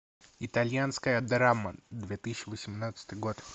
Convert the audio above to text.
итальянская драма две тысячи восемнадцатый год